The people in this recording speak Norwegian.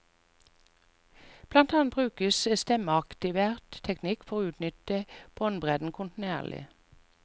Blant annet brukes stemmeaktivert teknikk for å utnytte båndbredden kontinuerlig.